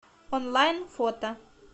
онлайн фото